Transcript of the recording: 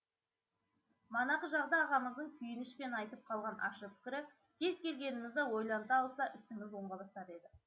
манағы жағда ағамыздың күйінішпен айтып қалған ащы пікірі кез келгенімізді ойланта алса ісіміз оңға басар еді